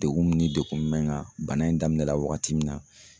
Degun min ni degun mɛ n kan bana in daminɛla wagati min na